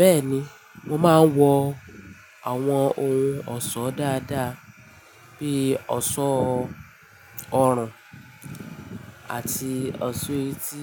Bẹ́ẹ̀ni, mo máa ń wọ àwọn ohun ọ̀ṣọ́ dáadáa bí ọ̀ṣọ́ ọrùn àti ọ̀ṣọ́ etí